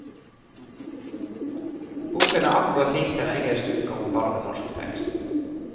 Boken er akkurat lik den engelske utgaven, bare med norsk tekst.